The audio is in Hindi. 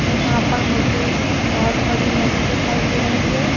यहां पर मुझे बहोत बड़ी नदी दिखाई दे रही है।